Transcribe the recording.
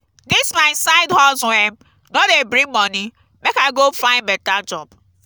dis my side hustle um no dey bring moni make i go find beta job